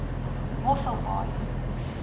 mosselbaai